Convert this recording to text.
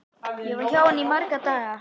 Ég var hjá henni í marga daga.